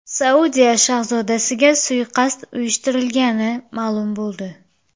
Saudiya shahzodasiga suiqasd uyushtirilgani ma’lum bo‘ldi.